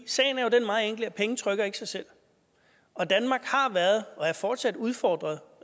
sagen er jo den meget enkle at penge ikke trykker sig selv og danmark har været og er fortsat udfordret